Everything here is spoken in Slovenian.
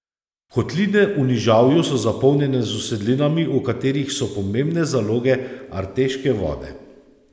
Kotline v nižavju so zapolnjene z usedlinami, v katerih so pomembne zaloge arteške vode.